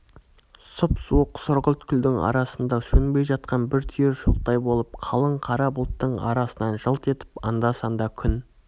сұп-суық сұрғылт күлдің арасында сөнбей жатқан бір түйір шоқтай болып қалың қара бұлттың арасынан жылт етіп анда-санда күн